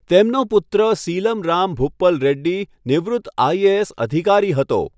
તેમનો પુત્ર સીલમ રામ ભૂપલ રેડ્ડી નિવૃત્ત આઈ.એ.એસ. અધિકારી હતો.